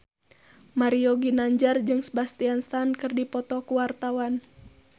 Mario Ginanjar jeung Sebastian Stan keur dipoto ku wartawan